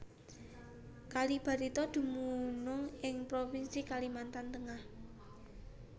Kali Barito dumunung ing provinsi Kalimantan Tengah